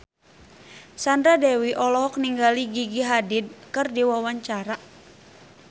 Sandra Dewi olohok ningali Gigi Hadid keur diwawancara